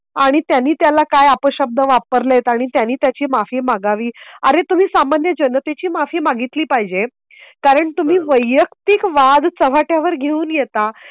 आणि त्यांनी त्याला काय आपशब्द वापरले आहेत आणि त्यांनी त्याची माफी मागावी अरे तुम्ही सामान्य जनतेची माफी मागितली पाहिजे. कारण तुम्ही वैयक्तिक वाद चव्हाट्यावर घेऊन येता.